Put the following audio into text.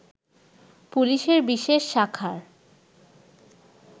পুলিশের বিশেষ শাখার